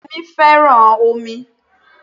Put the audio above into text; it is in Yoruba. Yemí fẹ́ràn omi